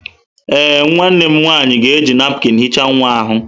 Ee, nwanne m nwanyị ga-eji napụkịn hichaa nwa ahụ.